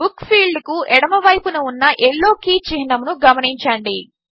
book id ఫీల్డ్కు ఎడమవైపున ఉన్న యెల్లో కీ చిహ్నమును గమనించండి